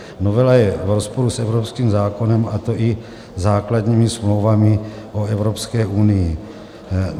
Novela je v rozporu s evropským zákonem, a to i základními smlouvami o Evropské unii.